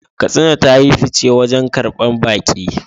Katsina ta yi fice wajen karbar baƙi